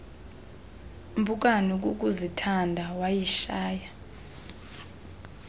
mpukane kukuzithanda wayishaya